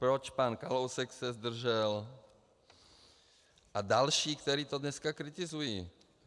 Proč pan Kalousek se zdržel a další, kteří to dneska kritizují.